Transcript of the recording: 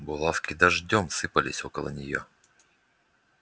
булавки дождём сыпались около неё